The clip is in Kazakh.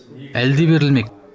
әлі де берілмек